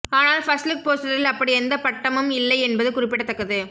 ஆனால் ஃபர்ஸ்ட்லுக் போஸ்டரில் அப்படி எந்த பட்டமும் இல்லை என்பது குறிப்பிடத்தக்கது